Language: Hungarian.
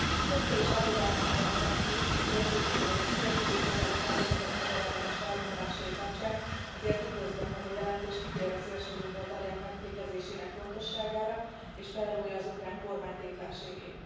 Többször is aggodalmam fejeztem ki a szélsőjobboldali szervezetek magyarellenes felvonulásai kapcsán, ezért üdvözlöm, hogy a jelentés kitér a szélsőjobboldaliak megfékezésének fontosságára és felrója az ukrán kormány tétlenségét.